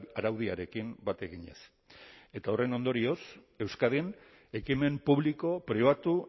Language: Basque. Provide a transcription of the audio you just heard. araudiarekin bat eginez eta horren ondorioz euskadin ekimen publiko pribatu